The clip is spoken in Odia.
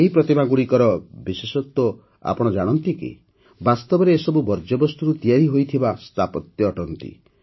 ଏହି ପ୍ରତିମାଗୁଡ଼ିକର ବିଶେଷତ୍ୱ ଆପଣ ଜାଣନ୍ତି କି ବାସ୍ତବରେ ଏସବୁ ବର୍ଜ୍ୟବସ୍ତୁରୁ ତିଆରି ହୋଇଥିବା ସ୍ଥାପତ୍ୟ ଅଟନ୍ତି